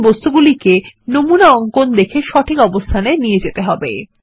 এখন এই বস্তুগুলিকে নমুনা অঙ্কন দেখে সঠিক অবস্থানে নিয়ে যেতে হবে